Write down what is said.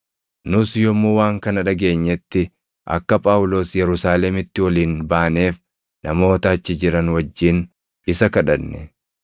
Nus yommuu waan kana dhageenyetti akka Phaawulos Yerusaalemitti ol hin baaneef namoota achi jiran wajjin isa kadhanne.